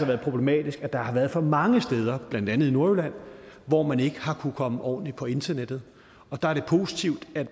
været problematisk at der har været for mange steder blandt andet i nordjylland hvor man ikke har kunnet komme ordentligt på internettet der er det positivt at